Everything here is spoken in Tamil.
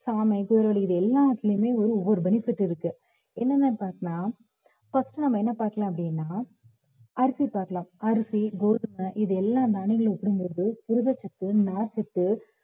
சாமை, குதிரைவாலி இது எல்லாத்துலயுமே ஒவ்வொரு benefit இருக்கு என்னன்னு பார்த்தோம்ன்னா first நம்ம என்ன பாக்கலாம் அப்படின்னா அரிசி பார்க்கலாம் அரிசி, கோதுமை இது எல்லாம் புரதச்சத்து, நார்ச்சத்து